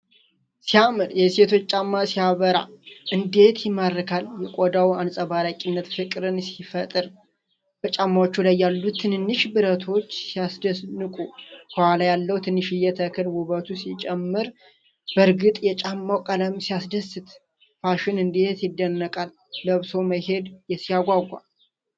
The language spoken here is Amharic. ሲያምር! የሴቶች ጫማ ሲያበራ እንዴት ይማርካል! የቆዳው አንፀባራቂነት ፍቅርን ሲፈጥር! በጫማዎቹ ላይ ያሉት ትንንሽ ብረቶች ሲያስደንቁ! ከኋላ ያለው ትንሽዬ ተክል ውበት ሲጨምር! በእርግጥ የጫማው ቀለም ሲያስደስት! ፋሽን እንዴት ይደነቃል! ለብሶ መሄድ ሲያጓጓ!